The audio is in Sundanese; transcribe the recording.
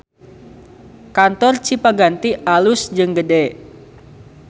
Kantor Cipaganti alus jeung gede